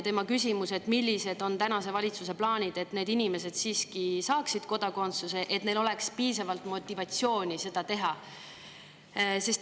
Ta küsis, millised on tänase valitsuse plaanid, et need inimesed siiski saaksid kodakondsuse, et neil oleks piisavalt motivatsiooni seda.